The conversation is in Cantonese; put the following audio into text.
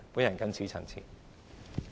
我謹此陳辭。